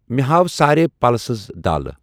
مےٚ ہاو سارے پلسز دالہٕ؟